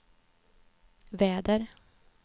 väder